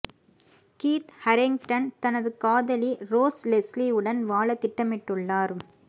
Keith Harington தனது காதலி Rose Leslie உடன் வாழ திட்டமிட்டுள்ளார்